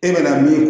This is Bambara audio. E bɛna min